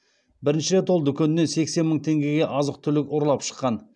бірінші рет ол дүкеннен сексен мың теңгеге азық түлік ұрлап шыққан